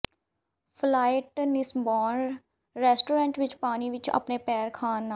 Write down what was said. flight fishbone restaurant ਵਿੱਚ ਪਾਣੀ ਵਿੱਚ ਆਪਣੇ ਪੈਰ ਖਾਣ ਨਾਲ